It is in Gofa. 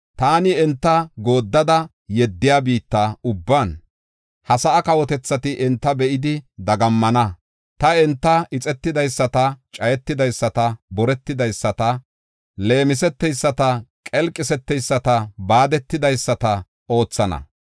Taani enta gooddada yeddiya biitta ubban, ha sa7a kawotethati enta be7idi dagammana. Taani enta ixetidaysata, cayetidaysata, boretidaysata, leemiseteyisata, qelqiseteyisata, baadetidaysata oothana.